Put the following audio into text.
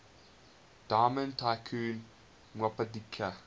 diamond tycoon nwabudike